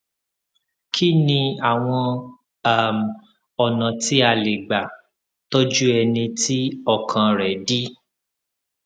kí ni àwọn um ọnà tí a lè gbà tọjú ẹni tí ọkàn rẹ dí